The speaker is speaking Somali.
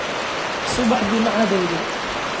Subaxdii ma cadayday?